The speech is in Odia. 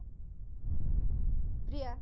ପ୍ରିୟା